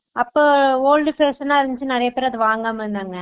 அப்போ old fashion னா இருந்துச்சு நிறையபேர் வாங்காம இருந்தாங்க